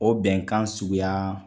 O bɛnkan suguya